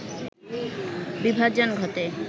বিভাজন ঘটে